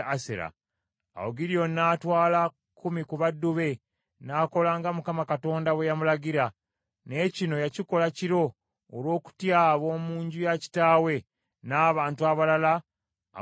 Awo Gidyoni n’atwala kkumi ku baddu be, n’akola nga Mukama bwe yamulagira, naye kino yakikola kiro olw’okutya ab’omu nju ya kitaawe n’abantu abalala ab’omu kibuga.